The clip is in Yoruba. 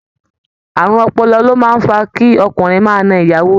Àrùn ọpọlọ ló máa ń fa kí ọkùnrinrin máa na ìyàwó rẹ̀